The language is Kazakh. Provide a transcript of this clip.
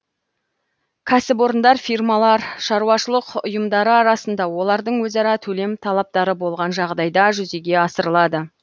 кәсіпорындар фирмалар шаруашылық ұйымдары арасында олардың өзара төлем талаптары болған жағдайда жүзеге асырылады